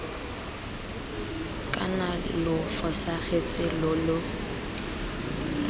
kana lo fosagatse lo lo